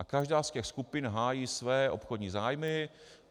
A každá z těch skupin hájí své obchodní zájmy.